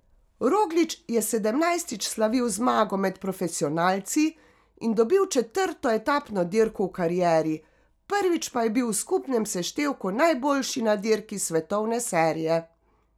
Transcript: Roglič je sedemnajstič slavil zmago med profesionalci in dobil četrto etapno dirko v karieri, prvič pa je bil v skupnem seštevku najboljši na dirki svetovne serije.